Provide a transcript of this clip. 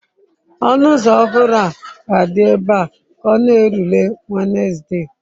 Ọnụ ụzọ ọhụrụ ahụ ga-adị ebe a ka ọ na-erule Wenezde.